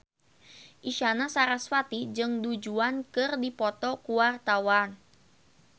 Isyana Sarasvati jeung Du Juan keur dipoto ku wartawan